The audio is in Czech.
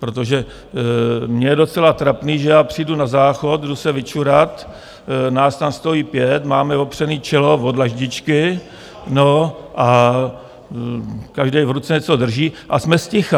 Protože mně je docela trapný, že já přijdu na záchod, jdu se vyčurat, nás tam stojí pět, máme opřený čelo o dlaždičky, no, a každý v ruce něco drží a jsme zticha.